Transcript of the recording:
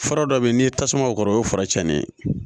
Fura dɔ bɛ yen n'i ye tasuma o kɔrɔ o ye fura cɛnni ye